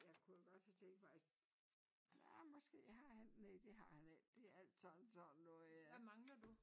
Jeg kunne jo godt have tænkt mig at ja måske har han næ det har han ikke det alt sammen sådan noget øh